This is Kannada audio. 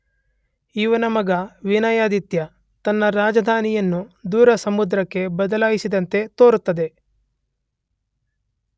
ಇವನ ಮಗ ವಿನಯಾದಿತ್ಯ ತನ್ನ ರಾಜಧಾನಿಯನ್ನು ದೋರ ಸಮುದ್ರಕ್ಕೆ ಬದಲಾಯಿಸಿದಂತೆ ತೋರುತ್ತದೆ.